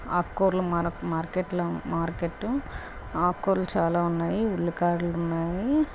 ఆకు కూరల మార్క్ మార్కెట్ల మార్కెట్. ఆకు కూరలు చాలా ఉన్నాయి. ఉల్లికాడలు ఉన్నాయి.